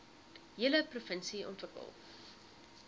hele provinsie ontwikkel